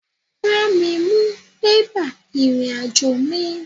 Bá mi mú bébà ìrìn-àjò mí